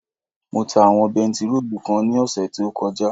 Mo ta àwọn bentiróòlù kan ní ọ̀sẹ̀ tí ó kọjá